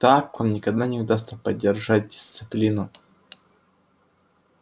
так вам никогда не удастся поддержать дисциплину